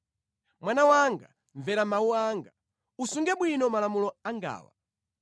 Mwana wanga, mvera mawu anga; usunge bwino malamulo angawa.